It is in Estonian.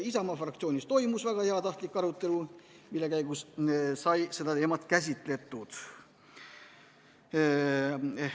Isamaa fraktsioonis oli toimunud väga heatahtlik arutelu, mille käigus sai seda teemat käsitletud.